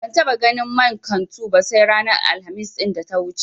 Ban taɓa ganin man kantu ba sai ranar Alhamis ɗin da ta wuce.